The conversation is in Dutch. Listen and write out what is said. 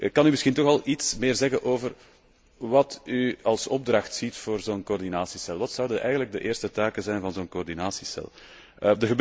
Kan u misschien toch al iets meer zeggen over wat u als opdracht ziet voor zo'n coördinatiecel? Wat zouden eigenlijk de eerste taken van zo'n coördinatiecel moeten zijn?